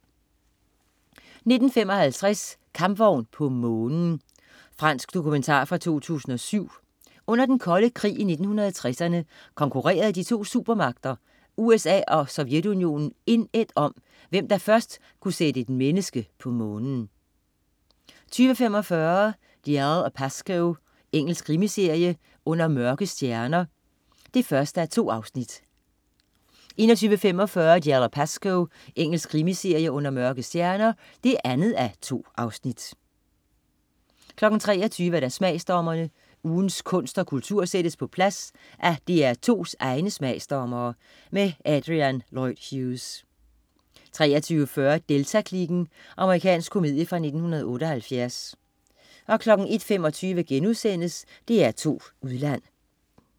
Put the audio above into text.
19.55 Kampvogn på månen. Fransk dokumentar fra 2007. Under Den Kolde Krig i 1960'erne konkurrerede de to supermagter, USA og Sovjetunionen indædt om, hvem der først kunne sætte et menneske på Månen 20.45 Dalziel & Pascoe. Engelsk krimiserie. "Under mørke stjerner" (1:2) 21.35 Dalziel & Pascoe. Engelsk krimiserie. "Under mørke stjerner" (2:2) 23.00 Smagsdommerne. Ugens kunst og kultur sættes på plads af DR2's egne smagsdommere. Adrian Lloyd Hughes 23.40 Delta-kliken. Amerikansk komedie fra 1978 01.25 DR2 Udland*